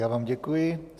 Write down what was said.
Já vám děkuji.